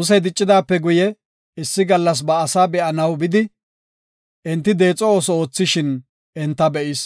Musey diccidaape guye issi gallas ba asaa be7anaw bidi, enti deexo ooso oothishin enta be7is.